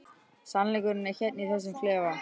Sannleikurinn er hérna í þessum klefa.